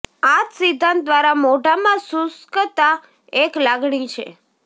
આ જ સિદ્ધાંત દ્વારા મોઢામાં શુષ્કતા એક લાગણી છે